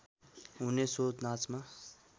हुने सो नाचमा